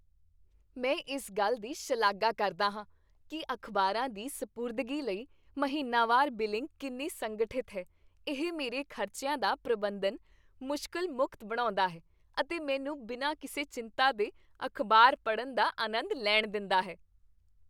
ਮੈਂ ਇਸ ਗੱਲ ਦੀ ਸ਼ਲਾਘਾ ਕਰਦਾ ਹਾਂ ਕੀ ਅਖ਼ਬਾਰਾਂ ਦੀ ਸਪੁਰਦਗੀ ਲਈ ਮਹੀਨਾਵਾਰ ਬਿਲਿੰਗ ਕਿੰਨੀ ਸੰਗਠਿਤ ਹੈ ਇਹ ਮੇਰੇ ਖ਼ਰਚਿਆਂ ਦਾ ਪ੍ਰਬੰਧਨ ਮੁਸ਼ਕਲ ਮੁਕਤ ਬਣਾਉਂਦਾ ਹੈ ਅਤੇ ਮੈਨੂੰ ਬਿਨਾਂ ਕਿਸੇ ਚਿੰਤਾ ਦੇ ਅਖ਼ਬਾਰ ਪੜ੍ਹਣ ਦਾ ਅਨੰਦ ਲੈਣ ਦਿੰਦਾ ਹੈ